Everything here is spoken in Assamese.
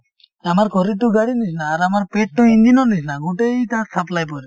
আমাৰ শৰীৰটো গাড়ীৰ নিছিনা আৰু আমাৰ পেটটো ইঞ্জিনৰ নিছিনা , গোটেই তাত supply পৰে।